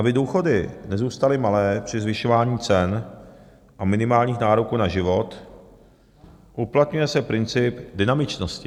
Aby důchody nezůstaly malé při zvyšování cen a minimálních nároků na život, uplatňuje se princip dynamičnosti.